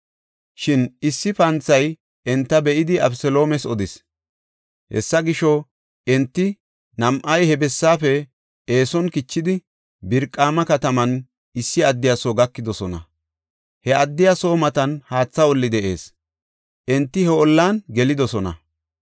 Shin issi panthay enta be7idi Abeseloomes odis. Hessa gisho, enti nam7ay he bessaafe eeson kichidi Biraqima kataman issi addiya soo gakidosona. He addiya soo matan haatha olli de7ees; enti he ollan gelidosona.